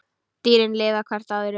Dýrin lifa hvert á öðru.